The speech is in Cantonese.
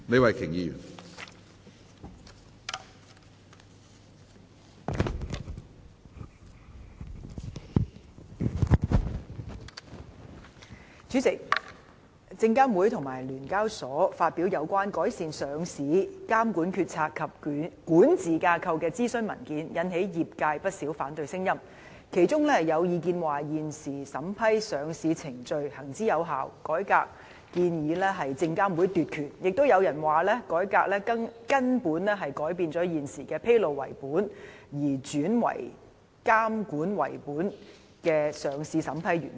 主席，證券及期貨事務監察委員會和香港聯合交易所有限公司發表有關"改善上市監管決策及管治架構"的諮詢文件，引起業界不少反對聲音，其中有意見指現時審批上市程序行之有效，改革建議是證監會想奪權；亦有人指改革會根本改變現時的上市審批原則，由披露為本，轉為監管為本。